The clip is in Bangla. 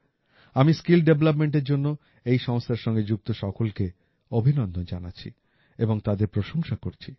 আমি স্কিল Developmentএর জন্য এই সংস্থার সঙ্গে যুক্ত সকলকে অভিনন্দন জানাচ্ছি এবং তাদের প্রশংসা করছি